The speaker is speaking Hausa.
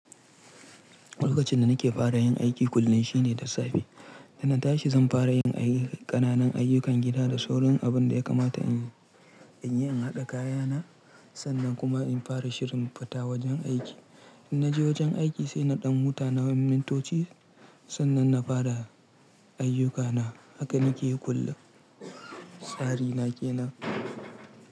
Lokacin da nake fara yin aiki kullum shine da safe. Da na tashi zan fara yin aiki, ƙananan ayyukan gida da sauran abin da ya kamata in yi. In haɗa kayana, sannan kuma in fara shirin fita wajen aiki. In na je wajen aiki sai na ɗan huta nawain mintoci sannan na fara ayyukana. Haka nake yi kullum. Tsari na ke nan.